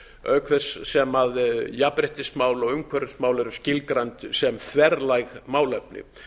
auk þess sem jafnréttismál og umhverfismál eru skilgreind sem þverlæg málefni